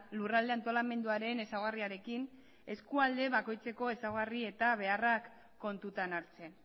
lurralde antolamenduaren ezaugarriarekin eskualde bakoitzeko ezaugarri eta beharrak kontutan hartzen